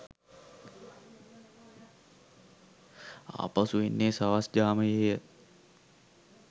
ආපසු එන්නේ සවස් ජාමයේ ය